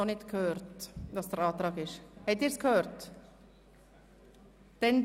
Ich habe bisher noch keine Antwort bekommen.